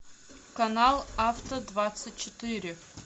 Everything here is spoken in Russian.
канал авто двадцать четыре